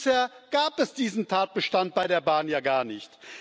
Bisher gab es diesen Tatbestand bei der Bahn ja gar nicht.